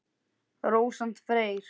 Rósant Freyr.